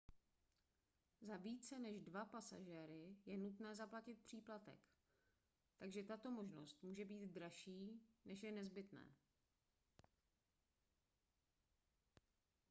za více než 2 pasažéry je nutné zaplatit příplatek takže tato možnost může být dražší než je nezbytné